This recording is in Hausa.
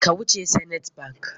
Ka wuce Zenith bank!